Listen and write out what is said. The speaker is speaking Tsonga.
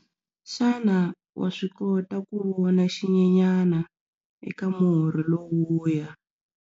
Xana wa swi kota ku vona xinyenyana eka murhi lowuya?